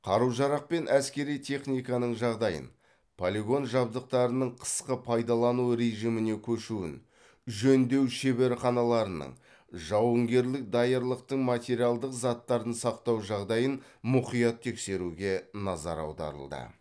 қару жарақ пен әскери техниканың жағдайын полигон жабдықтарының қысқы пайдалану режиміне көшуін жөндеу шеберханаларының жауынгерлік даярлықтың материалдық заттарын сақтау жағдайын мұқият тексеруге назар аударылды